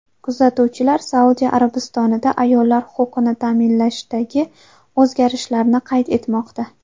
Kuzatuvchilar Saudiya Arabistonida ayollar huquqini ta’minlashdagi o‘zgarishlarni qayd etmoqda.